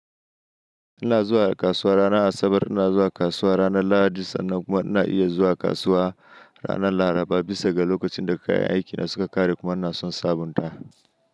Ina zuwa kasuwa ranar Asabar, ina zuwa kasuwa ranar Lahadi sannan kuma ina iya zuwa kasuwa ranar Laraba bisa ga lokacin da kayan aikina suka ƙare kuma ina son sabunta.